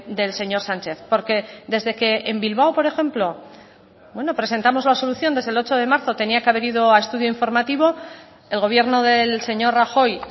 del señor sánchez porque desde que en bilbao por ejemplo presentamos la solución desde el ocho de marzo tenía que haber ido a estudio informativo el gobierno del señor rajoy